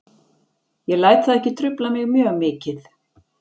Ég læt það ekki trufla mig mjög mikið.